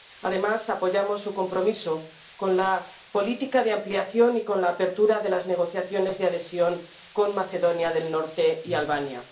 Además, apoyamos su compromiso con la política de ampliación y con la apertura de las negociaciones de adhesión con Macedonia del Norte y Albania.